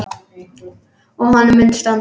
Og honum mun standa.